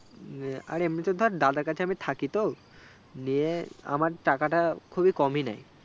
আর এমনিতেও ধর দাদার কাছে আমি থাকিতো দিয়ে আমার টাকাটা খুবই কমই নেই